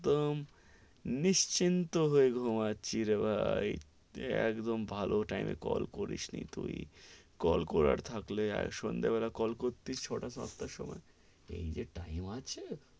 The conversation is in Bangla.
একদম নিশ্চিন্ত হয়ে ঘুমাচ্ছি রে ভাই, একদম ভালো টাইম এ কল করিস নি তুই, কল করার থাকলে সন্ধ্যা বেলায় কল করতিস, ছটা সাত টার সময়, এই যে টাইম আছে,